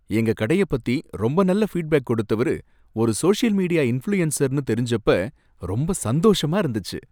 எங்க கடைய பத்தி ரொம்ப நல்ல ஃபீட்பேக் கொடுத்தவரு ஒரு சோஷியல் மீடியா இன்ஃப்ளூயன்சர்னு தெரிஞ்சப்ப ரொம்ப சந்தோஷமா இருந்துச்சு.